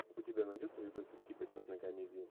у тебя найдется видосик типа черной комедии